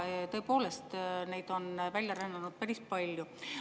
Tõepoolest, neid on välja rännanud päris palju.